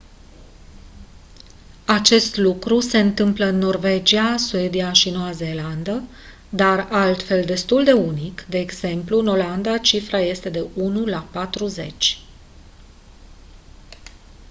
acest lucru se întâmplă în norvegia suedia și noua zeelandă dar altfel destul de unic de exemplu în olanda cifra este de la 1 la patruzeci